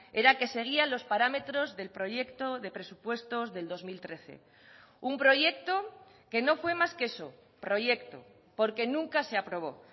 era que seguía los parámetros del proyecto de presupuestos del dos mil trece un proyecto que no fue más que eso proyecto porque nunca se aprobó